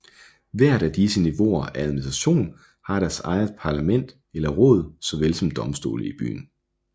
Hvert af disse niveauer af administration har deres eget parlament eller råd såvel som domstole i byen